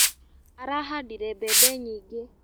Arahandire mbembe nyingĩ.